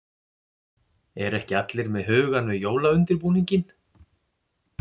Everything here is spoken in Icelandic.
Eru ekki allir með hugann við jólaundirbúninginn?